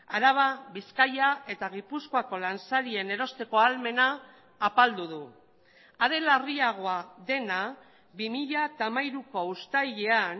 araba bizkaia eta gipuzkoako lansarien erosteko ahalmena apaldu du are larriagoa dena bi mila hamairuko uztailean